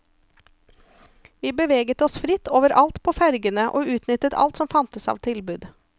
Vi beveget oss fritt overalt på fergene, og utnyttet alt som fantes av tilbud.